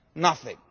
Nothing.